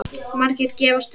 Margir gefast upp.